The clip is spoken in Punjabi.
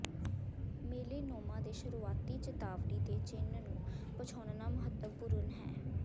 ਮੇਲੇਨੋਮਾ ਦੇ ਸ਼ੁਰੂਆਤੀ ਚੇਤਾਵਨੀ ਦੇ ਚਿੰਨ੍ਹ ਨੂੰ ਪਛਾਣਨਾ ਮਹੱਤਵਪੂਰਨ ਹੈ